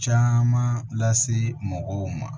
Caman lase mɔgɔw ma